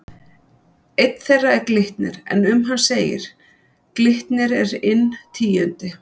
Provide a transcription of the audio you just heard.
Einn þeirra er Glitnir en um hann segir: Glitnir er inn tíundi,